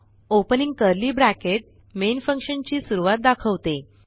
opening curly bracket main function ची सुरूवात दाखवते